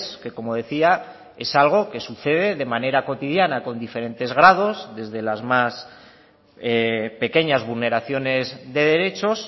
que como decía es algo que sucede de manera cotidiana con diferentes grados desde las más pequeñas vulneraciones de derechos